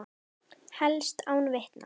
Helst án vitna.